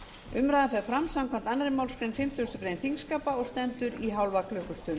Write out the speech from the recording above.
umræðan fer fram samkvæmt annarri málsgrein fimmtugustu grein þingskapa og stendur í hálfa klukkustund